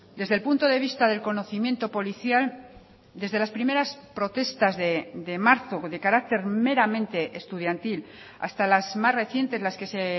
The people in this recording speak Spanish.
desde el punto de vista del conocimiento policial desde las primeras protestas de marzo de carácter meramente estudiantil hasta las más recientes las que se